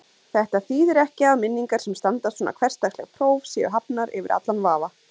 Þetta þýðir ekki að minningar sem standast svona hversdagsleg próf séu hafnar yfir allan vafa.